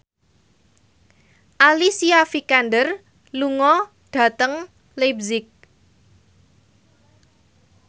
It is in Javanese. Alicia Vikander lunga dhateng leipzig